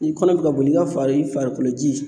Ni kɔnɔ bi ka boli i ka far'i farikolo ji